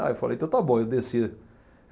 Aí eu falei, então está bom, eu desci.